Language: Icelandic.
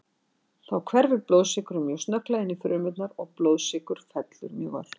Þá hverfur blóðsykurinn mjög snögglega inn í frumurnar og blóðsykur fellur mjög ört.